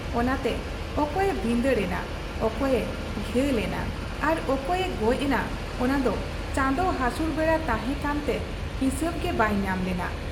ᱚᱱᱟᱛᱮ ᱯᱠᱯᱭᱮ ᱵᱷᱤᱸᱫᱟᱹᱲ ᱮᱱᱟ, ᱚᱠᱚᱭᱮ ᱜᱷᱟᱹᱞ ᱮᱱᱟ ᱟᱨ ᱚᱠᱚᱭᱮ ᱜᱚᱡ ᱮᱱᱟ ᱚᱱᱟᱫᱚ ᱪᱟᱸᱫᱚ ᱦᱟᱥᱩᱨ ᱵᱮᱲᱟ ᱛᱟᱦᱮᱸ ᱠᱟᱱᱛᱮ ᱦᱤᱥᱟᱹᱵᱽ ᱜᱮ ᱵᱟᱭ ᱧᱟᱢ ᱞᱮᱱᱟ ᱾